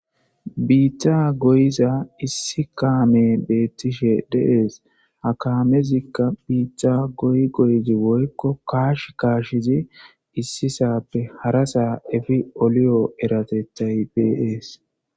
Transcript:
Biiththa goyiza issi kaame beettishe deees ha kaamezikka biita goy goyizi woykko kaash kaashizi issi sappe hara saa efi oliyo eratettay beees.